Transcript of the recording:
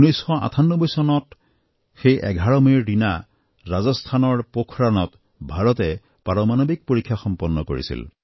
১৯৯৮ চনত সেই ১১ মেৰ দিনা ৰাজস্থানৰ পোখৰাণত ভাৰতে পাৰমাণৱিক পৰীক্ষা সম্পন্ন কৰিছিল